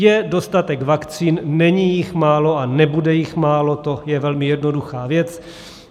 Je dostatek vakcín, není jich málo a nebude jich málo, to je velmi jednoduchá věc.